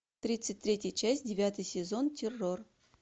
тридцать третья часть девятый сезон террор